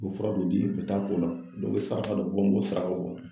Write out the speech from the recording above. U bɛ fura dɔ di u bɛ taa k'o la dɔ bɛ saraka dɔ bɔ m'o saraka bɔ.